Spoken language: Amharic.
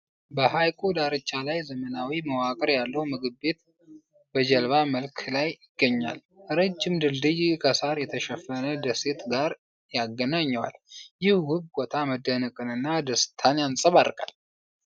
በሐይቁ ዳርቻ ላይ ዘመናዊ መዋቅር ያለው ምግብ ቤት በጀልባ መልክ ይገኛል። ረጅም ድልድይ ከሣር የተሸፈነ ደሴት ጋር ያገናኘዋል። ይህ ውብ ቦታ መደነቅንና ደስታን ያንጸባርቃል።